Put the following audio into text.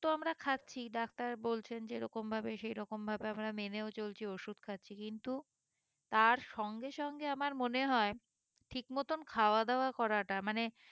তো আমরা খাচ্ছি ডাক্তার বলছেন যেই রকম ভাবে সেই রকম ভাবে আমরা মেনেও চলছি ওষুধ খাচ্ছি কিন্তু তার সঙ্গে সঙ্গে আমার মনে হয়ে ঠিক মতন খাওয়া দাওয়া করাটা মানে